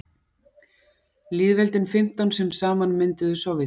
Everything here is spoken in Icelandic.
lýðveldin fimmtán sem saman mynduðu sovétríkin